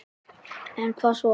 En hvað svo??